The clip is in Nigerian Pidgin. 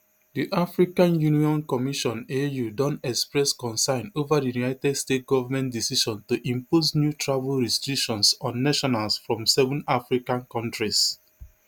di african union commissionau don express concern ova di united states government decision to impose new travel restrictions on nationals from seven african kontris